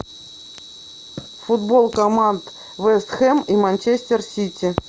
футбол команд вест хэм и манчестер сити